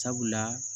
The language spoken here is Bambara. Sabula